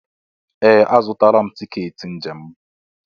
Ee! Azụtala m tiketi njem m.